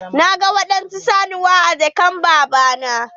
Na gan waɗansu saniya a jakar baba na.